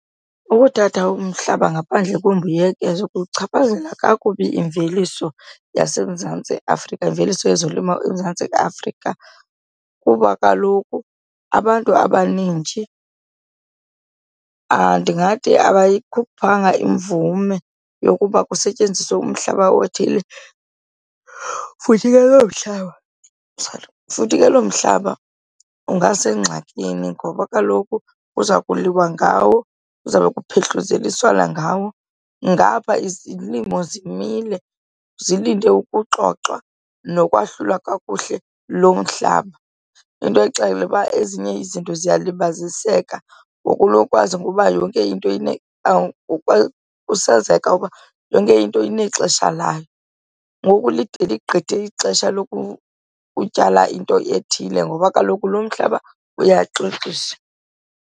Ukuthatha umhlaba ngaphandle kwembuyekezo kuchaphazela kakubi imveliso yaseMzantsi Afrika, imveliso yezolimo eMzantsi Afrika, kuba kaloku abantu abanintshi ndingathi akayikhuphanga imvume yokuba kusetyenziswe umhlaba othile. Futhi futhi ke lo mhlaba ungasengxakini ngoba kaloku kuza kuliwa ngawo kuzawube kuphehluzeliswana ngawo, ngapha izilimo zimile zilinde ukuxoxwa nokwahlulwa kakuhle lo mhlaba. Into kuba exela uba ezinye izinto ziyalibaziseka ngokunokwazo ngoba yonke into kusazeka uba yonke into inexesha layo, ngoku lide ligqithe ixesha lokutyala into ethile ngoba kaloku lo mhlaba uyaxoxisa.